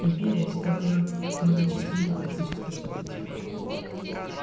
империя всегда была многочисленными политическим событием